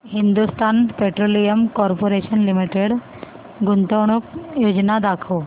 Hindustan petroleum corporation limited गुंतवणूक योजना दाखव